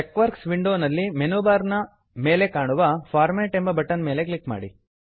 ಟೆಕ್ವರ್ಕ್ ವಿಂಡೋವಿನಲ್ಲಿ menu bar ನ ಮೇಲೆ ಕಾಣುವ ಫಾರ್ಮ್ಯಾಟ್ ಫಾರ್ಮೇಟ್ ಎಂಬ ಬಟನ್ ನ ಮೇಲೆ ಕ್ಲಿಕ್ ಮಾಡಿ